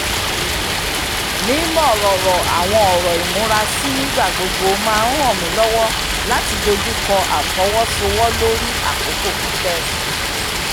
mímọ̀rọ̀rọ̀ àwọn ọ̀rọ̀ ìmúrasí nígbà gbogbo máa ń ràn mí lọ́wọ́ láti dojú kọ́ àfọwọ́sowọ́lórí àkókò pípẹ́